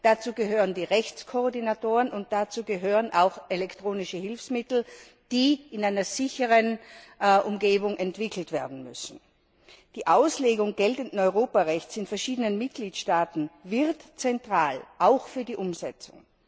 Dazu gehören die Rechtskoordinatoren, und dazu gehören auch elektronische Hilfsmittel, die in einer sicheren Umgebung entwickelt werden müssen. Die Auslegung geltenden Europarechts in verschiedenen Mitgliedstaaten wird zentral, auch für die Umsetzung.